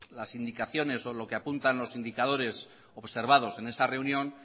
las indicaciones o lo que apuntan los indicadores observados en esa reunión